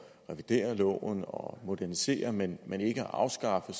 revidere loven og modernisere men men ikke at afskaffe